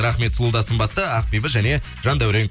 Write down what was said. рахмет сұлу да сымбатты ақбибі және жандаурен